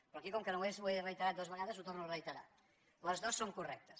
però aquí com que només ho he reiterat dues vegades ho torno a reiterar les dues són correctes